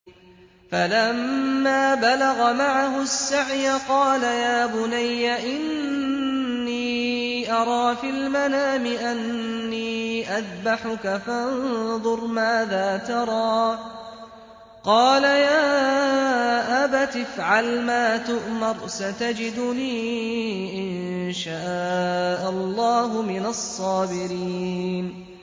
فَلَمَّا بَلَغَ مَعَهُ السَّعْيَ قَالَ يَا بُنَيَّ إِنِّي أَرَىٰ فِي الْمَنَامِ أَنِّي أَذْبَحُكَ فَانظُرْ مَاذَا تَرَىٰ ۚ قَالَ يَا أَبَتِ افْعَلْ مَا تُؤْمَرُ ۖ سَتَجِدُنِي إِن شَاءَ اللَّهُ مِنَ الصَّابِرِينَ